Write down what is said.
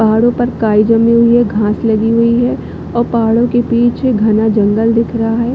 पहाड़ो पर काई जमी हुई है घास लगी हुई है और पहाड़ो के बीच घना जंगल दिख रहा है।